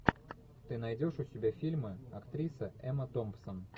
ты найдешь у себя фильмы актриса эмма томпсон